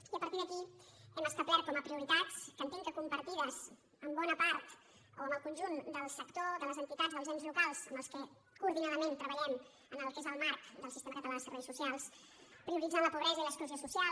i a partir d’aquí hem establert com a prioritats que entenc que compartides amb bona part o amb el con·junt del sector de les entitats dels ens locals amb què coordinadament treballem en el que és el marc del sis·tema català de serveis socials prioritzant la pobresa i l’exclusió social